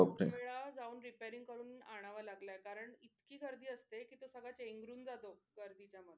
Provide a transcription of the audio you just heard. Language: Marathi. मला जाऊन repairing करून आणावं लागलाय करणं इतकी गर्दी असते कि तो सगल चेंगरून जातो गर्दी मध्ये.